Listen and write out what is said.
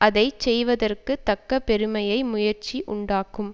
அதை செய்வதற்க்குத் தக்க பெருமையை முயற்சி உண்டாக்கும்